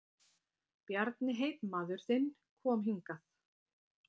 Bjarni heitmaður þinn kom hingað.